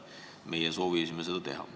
Meie soovisime seda teha.